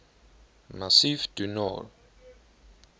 massif du nord